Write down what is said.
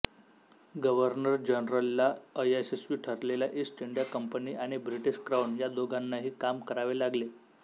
governor जनरलला अयशस्वी ठरलेल्या ईस्ट इंडिया कंपनी आणि ब्रिटीश क्राउन या दोघांनाही काम करावे लागले